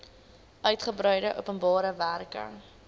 uigebreide openbare werke